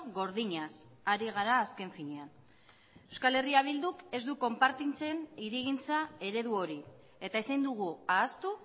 gordinaz ari gara azken finean euskal herria bilduk ez du konpartitzen hirigintza eredu hori eta ezin dugu ahaztu